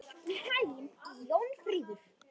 Gangi þér allt í haginn, Jónfríður.